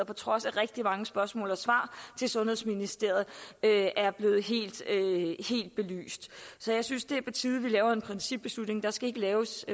på trods af rigtig mange spørgsmål og svar til sundhedsministeriet er blevet helt belyst så jeg synes det er på tide at vi laver en principbeslutning der skal ikke laves